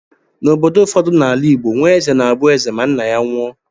N'obodo ụfọdụ na-ala Igbo, nwa eze na-abụ eze ma nna ya nwụọ.